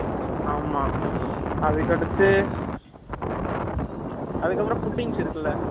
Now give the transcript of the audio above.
ஆமா. அதுக்கடுத்து, அதுக்கப்புறம், puddings இருக்குல்ல?